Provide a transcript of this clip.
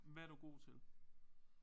Hvad er du god til?